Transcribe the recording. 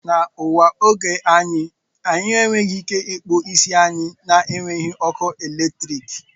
Na ụwa nke oge a anyị enweghị ike ịkpụ isi anyị na-enweghị ọkụ eletrik